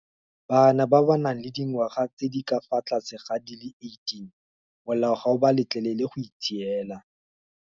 Bana ba ba nang le dingwaga tse di ka fa tlase ga di le 18 molao ga o ba letlelele go itshiela.